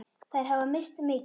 Þær hafa misst mikið.